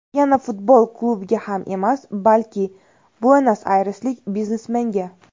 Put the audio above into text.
Yana futbol klubiga ham emas, balki, Buenos-Ayreslik biznesmenga.